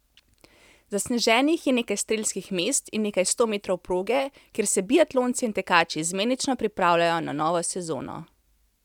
Zasneženih je nekaj strelskih mest in nekaj sto metrov proge, kjer se biatlonci in tekači izmenično pripravljajo na novo sezono.